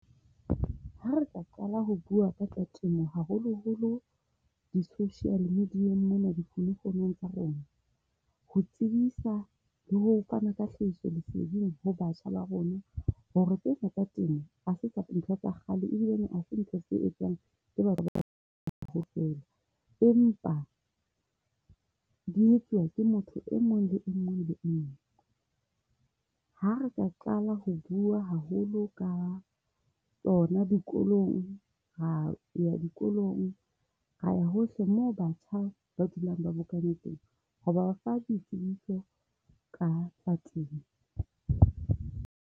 Ha re tla qala ho bua ka tsa temo, haholoholo di-social media mona di tsa rona, ho tsebisa le ho fana ka hlahisoleseding ho batjha ba rona. Hore tsena tsa temo ha se ntho tsa kgale, e bile ha se ntho se etsang ke batho ba kaofela empa di etsuwa ke motho e mong le e mong. Ha re ka qala ho bua haholo ka tsona hona dikolong. Ra ya dikolong, ra ya hohle moo batjha ba dulang ba bokane teng. Ra ba fa ditsebiso ka tsa temo.